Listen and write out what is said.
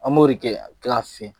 An b'o de kɛ k'a fiyɛ.